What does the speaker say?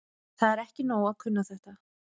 Það er ekki nóg að kunna þetta.